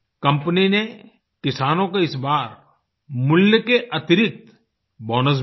company ने किसानों को इस बार मूल्य के अतिरिक्त बोनस भी दिया